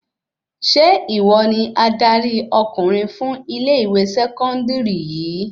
Ṣe ìwọ ni adarí ọkùnrin fún ilẹ ìwé sẹkọndiri yìí?